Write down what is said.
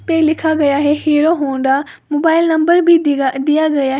पे लिखा गया है हीरो होंडा मोबाइल नंबर भी दिगा दिया गया।